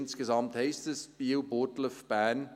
Insgesamt heisst das: Biel, Burgdorf, Bern.